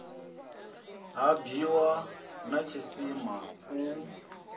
ha bwiwa na tshisima u